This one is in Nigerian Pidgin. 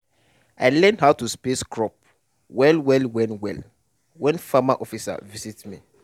i learn how to space crop well well when well when farm officer visit me.